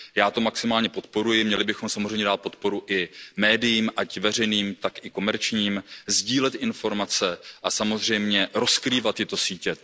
Já to maximálně podporuji, měli bychom samozřejmě dát podporu i médiím jak veřejným, tak i komerčním, sdílet informace a samozřejmě rozkrývat tyto sítě.